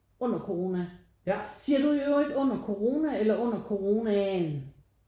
Under corona siger du i øvrigt under corona eller under coronaen